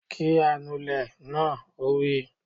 Kí anulẹ̀ náà! Ó wí